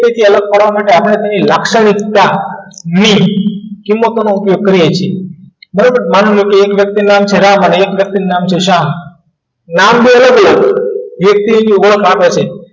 કોઈ સૌથી પહેલા કરવા માટે આપણે લાક્ષણિકતા ની કિંમતો નો ઉપયોગ કરીએ છીએ બરાબર માનો કે એક વ્યક્તિનું જરા જસા નામ બોલો એક થી